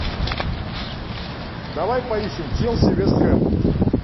давай поищем челси вест хэм